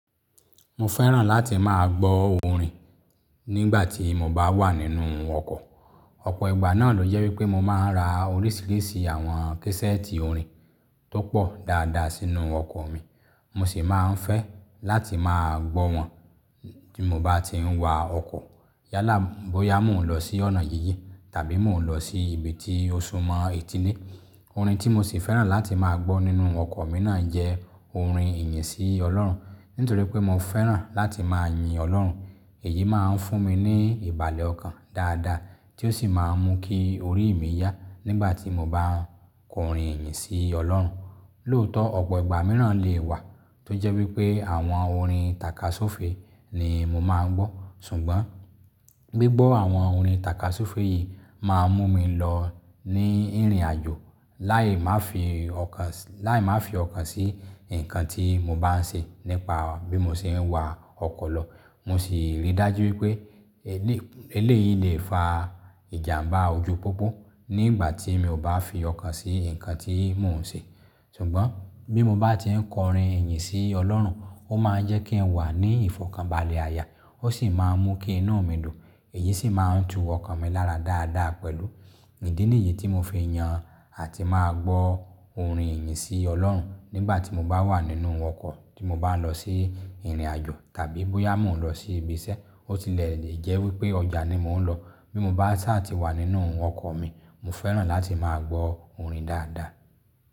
Mo fẹ́ràn láti máa gbọ́ orin nígbà tí mo bá wà nínú ọkọ̀. Ọ̀pọ̀ ìgbà náà ló jẹ́ wípé mo máa ń ra oríṣiríṣi àwọn késẹ́ẹ̀tì orin tó pọ̀ dáadáa sínú ọkọ̀ mi. Mo sì máa ń fẹ́ láti máa gbọ́ wọn bí mo bá ti ń wa ọkọ̀. Yálà bóyá mò ń lọ sí ọ̀nà jinjin tàbí mò ń lọ sí ibi tí ó súmọ́ etí le. Orin tí mo sì fẹ́ràn láti máa gbọ́ nínú ọkọ̀ mi náà jẹ́ orin ìyìn sí Ọlọ́run. Nítorí pé mo fẹ́ràn láti máa yin Ọlọ́run. Èyí máa ń fún mi ní ìbàlẹ̀ ọkàn dáadáa tí ó sì máa ń mú kí orí mi yá nígbà tí mo bá ń kọrin ìyìn sí Ọlọ́run. Lóòótọ́, ọ̀pọ̀ ìgbà mìíràn lè wà tó jẹ́ wípé àwọn orin tàkasúfèé ni mo máa ń gbọ́. Ṣùgbọ́n gbígbọ́ àwọn orin tàkasúfèé yìí máa ń mú mi lọ ní ìrìnàjò láì má fi ọkàn, láì má fi ọkàn sí nǹkan tí mo bá ń ṣe nípa bí mo ṣe ń wa ọkọ̀ lọ. Mo sì rí dájú wípé eléyìí lè fa ìjàmbá ojú pópó nígbà tí mi ò bá fi ọkàn sí nǹkan tí mò ń ṣe. Ṣùgbọ́n bí mo bá ti ń kọrin ìyìn sí Ọlọ́run, ó máa ń jẹ́ kí n wà ní ìfọ̀kànbalẹ̀ aya, ó sì máa ń mú kí inú mi dùn. Èyí sì máa ń tu ọkọ̀ mi lára dáadáa pẹ̀lú. Ìdí nìyí tí mo fi yan àti máa gbọ́ orin ìyìn sí Ọlọ́run nígbà tí mo bá wà nínú ọkọ̀, tí mo bá ń lọ sí ìrìnàjò tàbí bóyá mò ń lọ sí ibi iṣẹ́. Ó tilẹ̀ jẹ́ wípé ọjà ni mò ń lọ. Bí mo sá tà tí wà nínú ọkọ̀ mi, mo fẹ́ràn láti máa gbọ́ orin dáadáa.